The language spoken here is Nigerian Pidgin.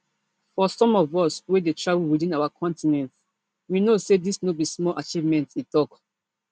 for some of us wey dey travel within our continent we know say dis no be small achievement e tok